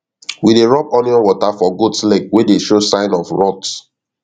we dey rub onion water for goat leg wey dey show sign of rot